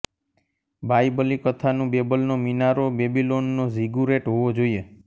બાયબલી કથાનું બેબલનો મિનારો બેબિલોનનો ઝિગુરૅટ હોવો જોઈએ